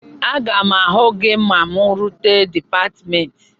Aga m ahụ gị ma mụ rute dịpatmentị